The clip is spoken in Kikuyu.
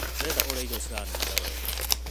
Ndĩrenda ũrĩa irio ciranunga wega.